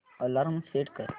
alarm set कर